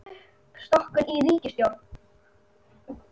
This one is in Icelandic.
Uppstokkun í ríkisstjórn